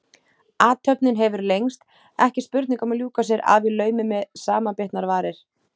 Athöfnin hefur lengst, ekki spurning um að ljúka sér af í laumi með samanbitnar varir.